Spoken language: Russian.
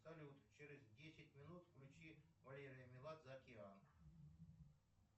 салют через десять минут включи валерий меладзе океан